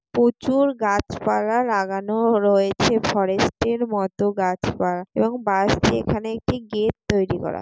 প্রচুর গাছপালা লাগানো রয়েছে ফরেস্ট এর মত গাছপালা এবং বাঁশ দিয়ে এখানে একটি গেট তৈরি করা |